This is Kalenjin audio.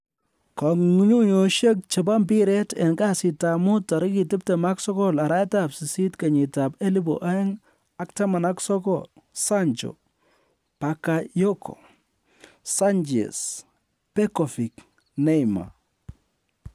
kong'ung'uyosiek chebo mpiret en kasitab mut 29.08.2019: Sancho, Bakayoko, Sanchez, Begovic, Neymar